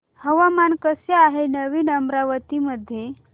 हवामान कसे आहे नवीन अमरावती मध्ये